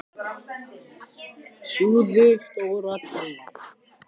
Fyrir vikið held ég að hann hafi þjáðst af ofsóknarbrjálæði.